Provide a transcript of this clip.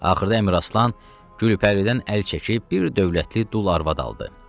Axırda Əmiraslan Gülpəridən əl çəkib bir dövlətli dul arvad aldı.